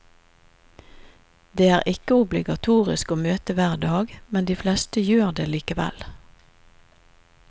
Det er ikke obligatorisk å møte hver dag, men de fleste gjør det likevel.